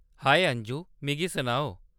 हाए अंजू ! मिगी सनाओ।